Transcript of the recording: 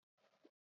Lọ sí ìdíkọ̀ yẹn!